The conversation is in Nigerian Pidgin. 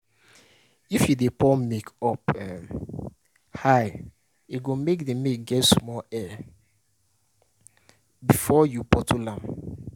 if you dey pour milk up um high, you go mek the milk get small air before you bottle am